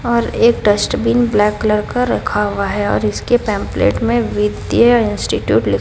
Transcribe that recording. और एक dustbin black colour का रखा हुआ है और इसके पेम्प्लेटल में वित्तीय इंस्टीट्यूट लि--